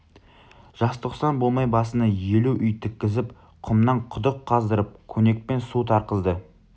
жазтоқсан болмай басына елу үй тіккізіп құмнан құдық қаздырып көнекпен су тартқызды